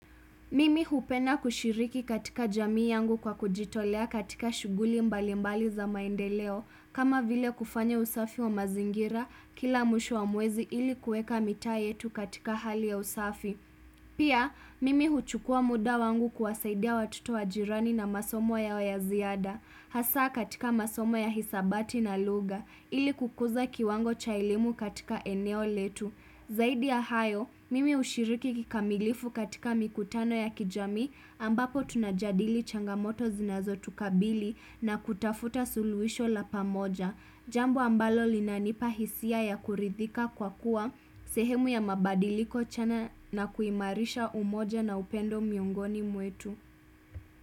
Mimi hupenda kushiriki katika jamii yangu kwa kujitolea katika shughuli mbali mbali za maendeleo kama vile kufanya usafi wa mazingira, kila mwisho wa mwezi ili kueka mitaa yetu katika hali ya usafi Pia, mimi huchukua muda wangu kuwasaidia watoto wajirani na masomo yao yaziada Hasaa katika masomo ya hisabati na lugha, ili kukuza kiwango cha elimu katika eneo letu Zaidi ya hayo, mimi ushiriki kikamilifu katika mikutano ya kijamii ambapo tunajadili changamoto zinazo tukabili na kutafuta suluhisho la pamoja. Jambo ambalo linanipahisia ya kuridhika kwa kuwa sehemu ya mabadiliko chana na kuimarisha umoja na upendo miongoni mwetu.